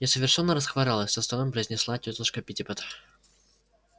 я совершенно расхворалась со стоном произнесла тётушка питтипэт